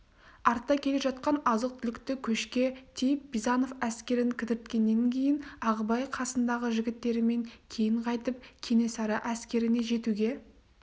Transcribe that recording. артта келе жатқан азық-түлікті көшке тиіп бизанов әскерін кідірткеннен кейін ағыбай қасындағы жігіттерімен кейін қайтып кенесары әскеріне жетуге